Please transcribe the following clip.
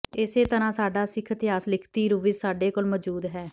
ਇਸੇ ਤਰ੍ਹਾਂ ਸਾਡਾ ਸਿੱਖ ਇਤਿਹਾਸ ਲਿਖਤੀ ਰੂਪ ਵਿਚ ਸਾਡੇ ਕੋਲ ਮੌਜੂਦ ਹੈ